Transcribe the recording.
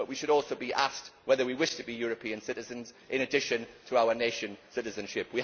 But we should also be asked whether we wish to be European citizens in addition to our nation citizenship.